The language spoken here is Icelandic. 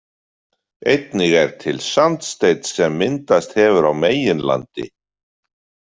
Einnig er til sandsteinn sem myndast hefur á meginlandi.